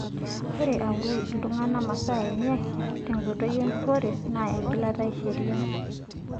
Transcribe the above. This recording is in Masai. Ore aoru iltungana masaa enye tenkoitoi empurore naa engilata e sheriaa.